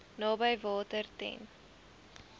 naby water ten